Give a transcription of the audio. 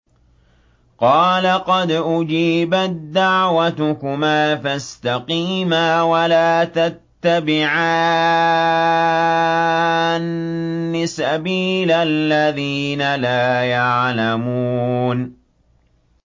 قَالَ قَدْ أُجِيبَت دَّعْوَتُكُمَا فَاسْتَقِيمَا وَلَا تَتَّبِعَانِّ سَبِيلَ الَّذِينَ لَا يَعْلَمُونَ